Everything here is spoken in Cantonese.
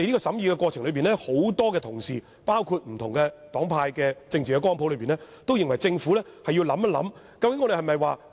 在審議過程中，很多包括不同黨派和政治光譜的同事均認為政府要思考這問題。